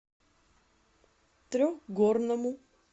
трехгорному